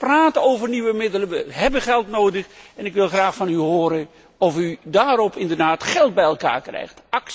We praten over nieuwe middelen, we hebben geld nodig, en ik wil graag van u horen of u daarmee inderdaad geld bij elkaar krijgt?